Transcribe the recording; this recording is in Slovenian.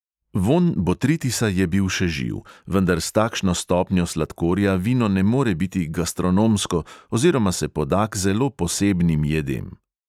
Vonj botritisa je bil še živ, vendar s takšno stopnjo sladkorja vino ne more biti gastronomsko oziroma se poda k zelo posebnim jedem.